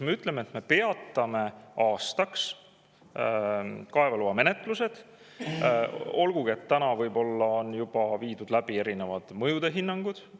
Me ütleme, et me peatame aastaks kaevandamisloa menetlused, olgugi et võib-olla on juba tehtud mingid mõjuhinnangud.